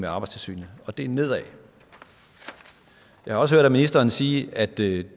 arbejdstilsynet og det er nedad jeg har også hørt ministeren sige at det